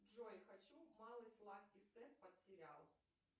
джой хочу малый сладкий сет под сериал